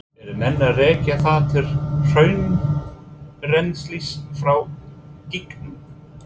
Eru menn að rekja það til hraunrennslis frá gígunum?